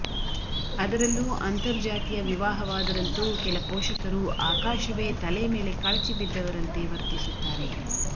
ಅದರಲ್ಲೂ ಅಂತರ್ಜಾತಿಯ ವಿವಾಹವಾದರಂತೂ ಕೆಲ ಪೋಷಕರು ಆಕಾಶವೇ ತಲೆ ಮೇಲೆ ಕಳಚಿ ಬಿದ್ದವರಂತೆ ವರ್ತಿಸುತ್ತಾರೆ